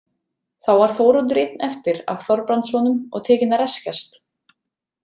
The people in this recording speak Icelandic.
Þá var Þóroddur einn eftir af Þorbrandssonum og tekinn að reskjast.